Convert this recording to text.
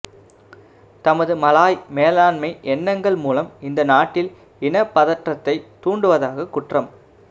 தமது மலாய் மேலாண்மை எண்ணங்கள் மூலம் இந்த நாட்டில் இனப் பதற்றத்தைத் தூண்டுவதாக குற்றம்